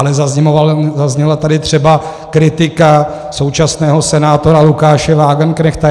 Ale zazněla tady třeba kritika současného senátora Lukáše Wagenknechta.